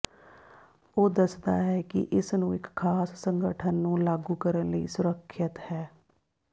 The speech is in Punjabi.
ਉਹ ਦੱਸਦਾ ਹੈ ਕਿ ਇਸ ਨੂੰ ਇੱਕ ਖਾਸ ਸੰਗਠਨ ਨੂੰ ਲਾਗੂ ਕਰਨ ਲਈ ਸੁਰੱਖਿਅਤ ਹੈ